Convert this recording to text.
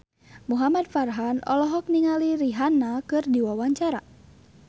Muhamad Farhan olohok ningali Rihanna keur diwawancara